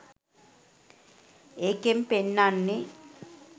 ඒකෙං පෙන්නන්නෙ